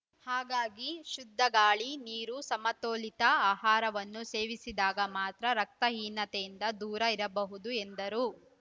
ಹಾಗಾಗಿ ಶುದ್ಧಗಾಳಿ ನೀರು ಸಮತೋಲಿತ ಆಹಾರವನ್ನು ಸೇವಿಸಿದಾಗ ಮಾತ್ರ ರಕ್ತಹೀನತೆಯಿಂದ ದೂರ ಇರಬಹುದು ಎಂದರು